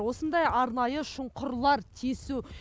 осындай арнайы шұңқырлар тесу